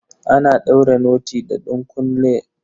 Ana daure noti da ɗunkulen direba.